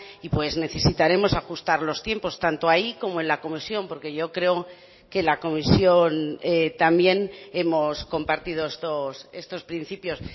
y pues necesitaremos ajustar los tiempos tanto ahí como en la comisión porque yo creo que la comisión también hemos compartido estos principios